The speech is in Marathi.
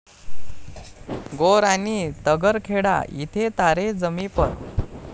गौर आणि तगरखेडा इथे 'तारे जमीं पर'